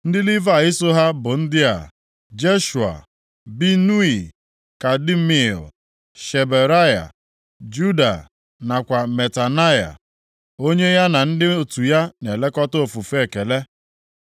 Ndị Livayị so ha bụ ndị a: Jeshua, Binui, Kadmiel, Sherebaya, Juda nakwa Matanaya, onye ya na ndị otu ya na-elekọta ofufe ekele.